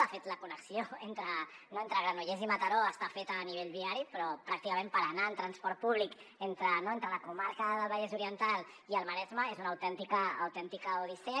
de fet la connexió entre granollers i mataró està feta a nivell viari però pràcticament anar en transport públic entre la comarca del vallès oriental i el maresme és una autèntica odissea